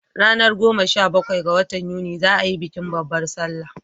Ranar goma sha bakwai ga watan yuni za a yi bikin babbar salla